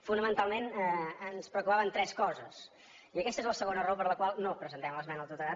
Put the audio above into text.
fonamentalment ens preocupaven tres coses i aquesta és la segona raó per la qual no presentem l’esmena a la totalitat